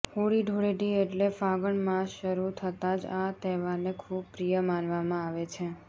હોળી ધુળેટી એટલે ફાગણ માસ શરૃ થતાં જ આ તહેવારને ખુબ પ્રિય માનવામાં આવે છે